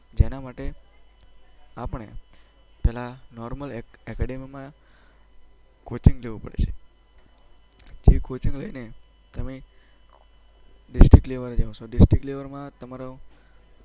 જેના માટે આપણે પહેલાં નોર્મલ એકેડેમીમાં કોચિંગ જવું પડશે. એ કોચિંગ લઈને તમે ડિસ્ટ્રિક્ટ લેવલ જશો. ડિસ્ટ્રિક્ટ લેવલમાં તમારો